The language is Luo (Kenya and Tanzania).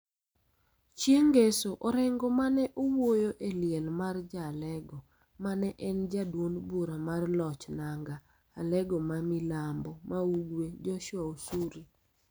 Chieng� ngeso, Orengo ma ne owuoyo e liel mar ja-Alego ma ne en ja duond bura mar loch nanga Alego ma milambo ma ugwe, Joshua Osuri